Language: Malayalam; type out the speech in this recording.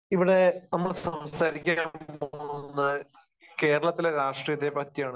ഇവിടെ നമ്മൾ സംസാരിക്കാൻ പോകുന്നത് കേരളത്തിലെ രാഷ്ട്രീയത്തെപ്പറ്റിയാണ്.